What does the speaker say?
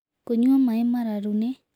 Kũnyua maĩĩ mararũ nĩ